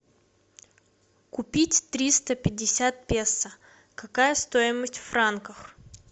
купить триста пятьдесят песо какая стоимость в франках